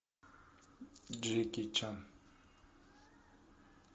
джеки чан